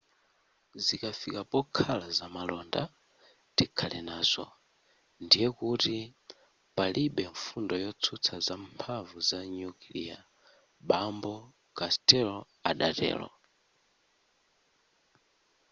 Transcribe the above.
zikafika pokhala zamalonda tikhale nazo ndiye kuti palibe mfundo yotsutsa za mphamvu ya nyukilia bambo costello adatero